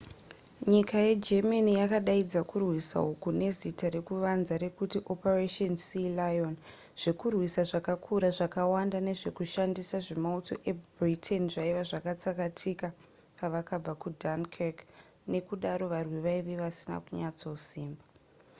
nyika yegermany yakadaidza kurwisa uku nezita rekuvanza rekuti operation sealion zvekurwisa zvakakura zvakawanda nezvekushandisa zvemauto ebritain zvaiva zvatsakatika pavakabva kudunkirk nekudaro varwi vaive vasina kunyatsosimba